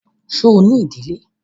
Ṣo ní ìdílé?